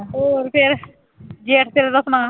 ਹੋਰ ਫਿਰ ਸੁਣਾ